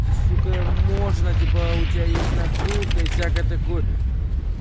ты сука можно типа а у тебя есть накрутка и всякое такое